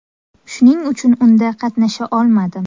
Shuning uchun unda qatnasha olmadim.